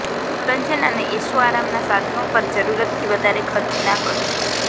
મનોરંજન અને એશો આરામ ના સાધનો પર જરૂરત થી વધારે ખર્ચ ના કરો